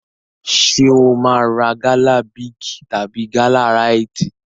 Ṣé o máa ra gala Big tàbí gala Rite?